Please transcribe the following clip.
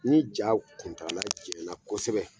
Ni ja kuntaala janyana kosɛbɛ